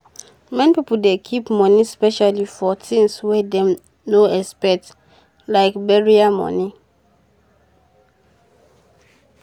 many pipo dey keep um moni specially for tins wey dem not xpect like burial moni um